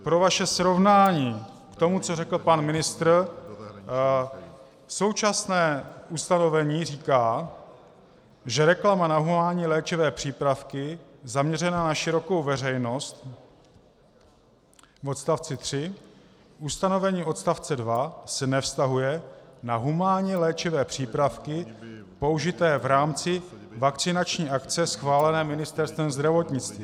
Pro vaše srovnání k tomu, co řekl pan ministr: Současné ustanovení říká, že reklama na humánní léčivé přípravky zaměřená na širokou veřejnost - v odstavci 3 - ustanovení odstavce 2 se nevztahuje na humánní léčivé přípravky použité v rámci vakcinační akce schválené Ministerstvem zdravotnictví.